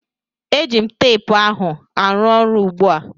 Eji m teepu ahụ arụ ọrụ ugbu a